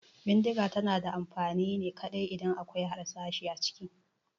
Bindiga tana da amfani ne kaɗai idan akwai harsashi a ciki